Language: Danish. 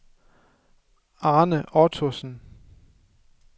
Arne Ottosen